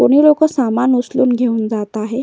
कोणी लोक सामान उचलून घेऊन जात आहे.